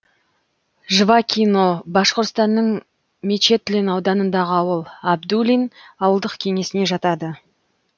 жвакино башқұртстанның мечетлин ауданындағы ауыл әбдуллин ауылдық кеңесіне жатады